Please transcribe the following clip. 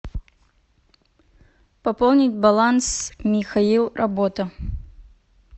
пополнить баланс михаил работа